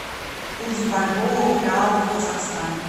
курс бальбоа к реалу в казахстане